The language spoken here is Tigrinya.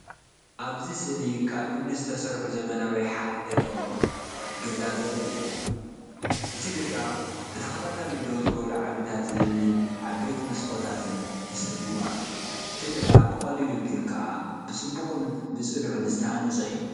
እዚ ስእሊ ካብ እምኒ ዝተሰርሐ ዘመናዊ ሓደ ደርቢ ገዛ ዘርኢ እዩ። እቲ ገዛ ብተኸታታሊ ደው ዝበሉ ዓምድታት እምንን ዓበይቲ መስኮታትን ተሰሊሙ ኣሎ። እቲ ገዛ ብቐሊሉ ግን ከኣ ብጽቡቕን ብጽኑዕን ዝተሃንጸ እዩ።